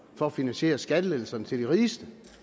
for at finansiere skattelettelserne til de rigeste